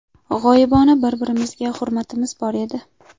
G‘oyibona bir-birimizga hurmatimiz bor edi.